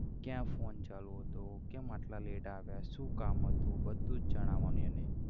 ક્યાં phone ચાલુ હતો કેમ આટલા late આવ્યા શુ કામ હતું બધું જણાવાનું એને.